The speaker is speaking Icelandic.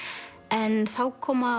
en þá koma